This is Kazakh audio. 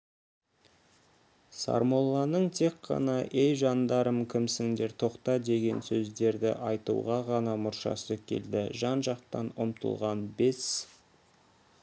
сармолланың тек қана ей жандарым кімсіңдер тоқта деген сөздерді айтуға ғана мұршасы келді жан-жақтан ұмтылған бес